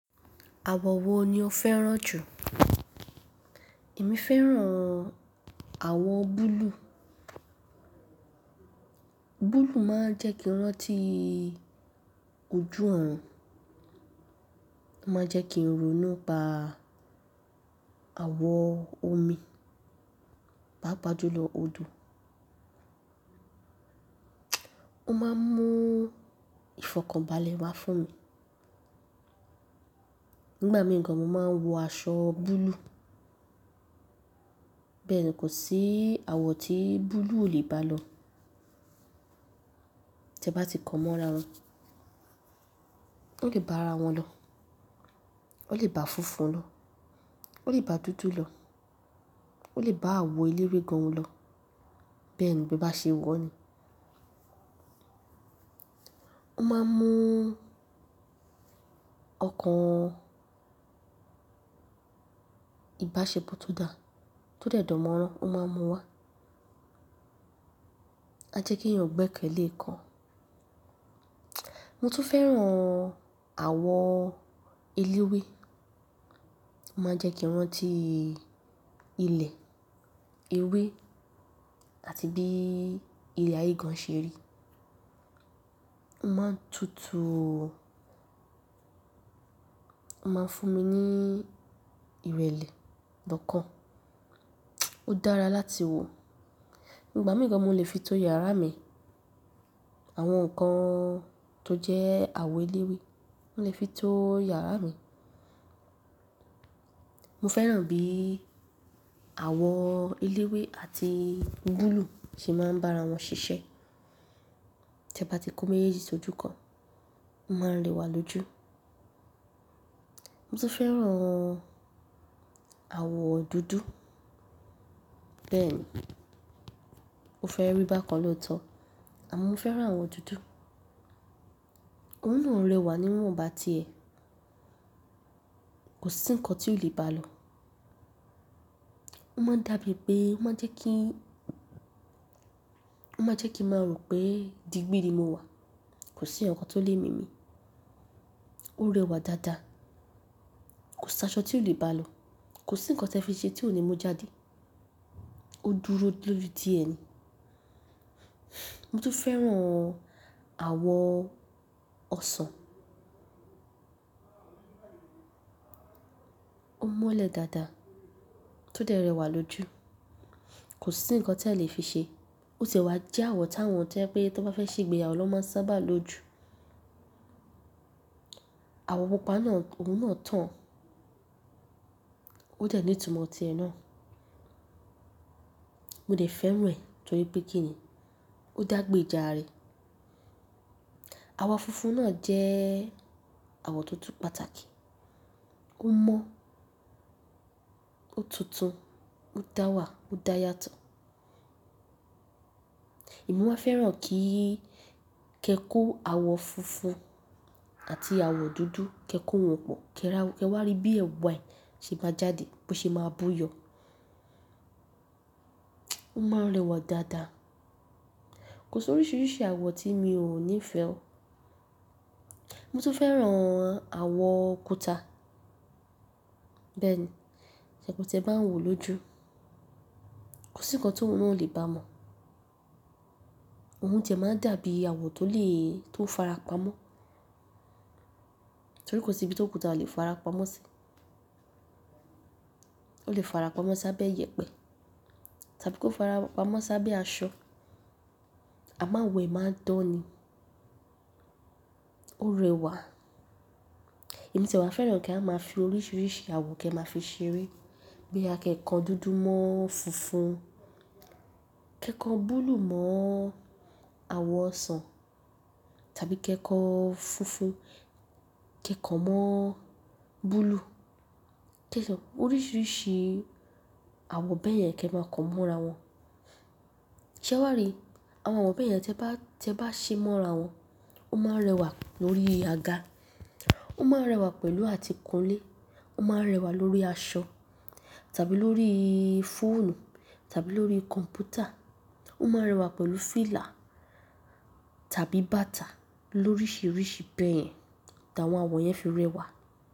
Àwọ̀ wo ni o fẹ́ràn jù? Èmi fẹ́ràn àwọ̀ búlúù. Búlúù máa ń jẹ́ kí i rántí ojú ọ̀run, ó máa ń jẹ́ kí ń ronú nípa àwon omi, pàápàá jùlo odò. Ó máa ń mú ìfọkànbalẹ̀ wa fún mi. Nígbà mìíràn, mo máa ń wọ aṣọ búlúù. Bẹ́ẹ̀ni, kò sí àwọ̀ tí búlúù ò lè bá lọ. Tẹ bá ti kàn mọ́ ara wọn, ó lè bá ara wọn lọ, ó lè bá funfun lọ, ó lè bá dúdú lọ, ó lè bá àwọ̀ eléwé gan lọ, bẹ́ẹ̀ni, bí e bá ṣe wọ̀ ó ni. O máa ń mú ọkàn ìbáṣepọ̀ tó dà, tó dẹ̀ dan móràn, ó máa ń mú wá. A jẹ́ kí èèyàn gbẹ́kẹ̀lé kan. Mo tún fẹ́ràn àwọ̀ eléwé. Ó máa ń jẹ́ kí n rántí ilẹ̀, ewé àti bí ilẹ̀ ayé gan-an ṣe rí. Ó máa ń tutù ó máa ń fún mi ní ìrẹ̀lẹ̀ okàn. Ó dára láti wò. Nígbà mìíràn, mo lè fi tó ìyàrá mi. Àwọn nǹkan tó jẹ́ àwọ̀ eléwé, mo lè fi tó ìyàrá mi. Mo fẹ́ràn bí àwọ̀ eléwé àti búlúù ṣe máa ń bá ara wọn ṣiṣẹ́. Tẹ bá ti kó méjèèjì sójú kan, ó máa ń rẹwà lójú. Mo tún fẹ́ràn àwọ̀ dúdú. Bẹ́ẹ̀ni, o fẹ́ rí bákan lóòótọ́, àmọ́ mo fẹ́ràn àwọ̀ dúdú. Òun náà rẹwà ní ìwòn bá ti ẹ. Kò sí nǹkan tí ò lè bá lọ. Ó máa ń dàbí pé, ó máa ń jẹ́ kí, ó máa ń jẹ́ kí n máa rò pé digbí ni mo wà. Kò sí ǹkan tó lè mí mi. Ó rẹwà dáadáa. Kò sí aṣọ tí ò lè bá lọ. Kò sí nǹkan tí e fi ṣe tí ò ní mú jáde. Ó dúró lórí ti e ni. Mo tún fẹ́ràn àwọ̀ ọsàn. O mọ́lẹ̀ dáadáa, tó dé rẹwà lójú. Kò sí ǹkan tí a lè fi ṣe. Ó ti e wà jẹ́ àwọ̀ táwọn tó jé wí pé tí wón bá fẹ́ ṣe ìgbéyàwó ni wón máa ń sábàá lo jù. Àwọ̀ pupa náà, òun náà tàn. Ó de ní ìtumọ̀ ti ẹ náà. Mo de fẹ́ràn rẹ̀ torí pé kíni? Ó dàgbè ijà ara e. Àwọ̀ funfun náà jẹ́ àwọ̀ tó tún pàtàkì. Ó mọ́, ó tuntun, ó dá wà, ó dá yàtọ̀. Èmi máa ń fẹ́ràn kí, kẹ kó àwọ̀ funfun àti àwọ̀ dúdú, kẹ kó wọn pọ̀, kẹ ra wọn, kẹ wá rí bí ẹ̀wà ẹ ṣe máa jáde, bí ó ṣe máa bú yọ. O máa ń rẹwà dáadáa. Kò sí oríṣiríṣi àwọ̀ tí mi ò ní fẹ́ o. Mo tún fẹ́ràn àwọ̀ kùtà. Bẹ́ẹ̀ni, tí e bá ń wò lójú. Kò sí nǹkan tí òun náà ó lè bá mọ̀. Òun ti e máa ń dàbí àwọ̀ tó lè, tó ń fara pamọ́. Torí kò sí ibi tí òkútà ò lè fara pamọ́ sí. Ó lè fara pamọ́ sábẹ́ iyẹ̀pẹ̀ tàbí kí ó fara pamọ́ sábẹ́ aṣọ. A máa wẹ̀, máa dán ni. Ó rẹwà. Èmi ti e wà fẹ́ràn kí á máa fi oríṣiríṣi àwọ̀ kẹ máa fi ṣeré. Bó yá ké kan dúdú mó funfun, ké kan búlùú mó awo òsàn, tàbí ké kan funfun mó búlùú, orísirísi awo báyen, ké màa kan mórawon. Ṣé wàá rí? Àwọn àwọ̀ bẹ́ẹ̀ yẹn tí ẹ bá, tí ẹ bá ṣe mọ́ ara wọn, ó máa ń rẹwà lórí àga. Ó máa ń rẹwà pẹ̀lú àti kún ilé. Ó máa ń rẹwà lórí aṣọ, tàbí lórí fóònù, tàbí lórí kọ̀m̀pútà. Ó máa ń rẹwà pẹ̀lú fìlà, tàbí bàtà, loríṣiríṣi bẹ́ẹ̀ yẹn tí àwọn àwọ̀ yẹn fi rẹwà.